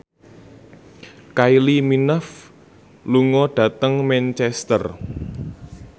Kylie Minogue lunga dhateng Manchester